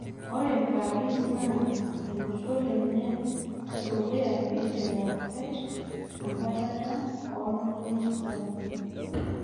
Ore paris naa olosho lenye ledukuya peiteru akwet enkwatata olntung'ana sapukin